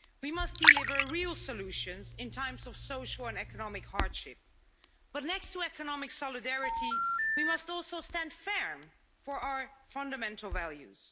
We must deliver real solutions in times of social and economic hardship. But next to economic solidarity, we must also stand firm on our fundamental values.